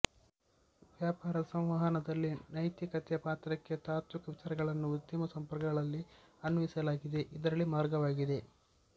ವ್ಯಾಪಾರ ಸಂವಹನದಲ್ಲಿ ನೈತಿಕತೆಯ ಪಾತ್ರಕ್ಕೆ ತಾತ್ವಿಕ ವಿಚಾರಗಳನ್ನು ಉದ್ಯಮ ಸಂಪರ್ಕಗಳಲ್ಲಿ ಅನ್ವಯಿಸಲಾಗಿದೆ ಇದರಲ್ಲಿ ಮಾರ್ಗವಾಗಿದೆ